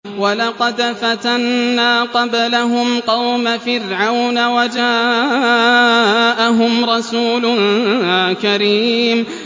۞ وَلَقَدْ فَتَنَّا قَبْلَهُمْ قَوْمَ فِرْعَوْنَ وَجَاءَهُمْ رَسُولٌ كَرِيمٌ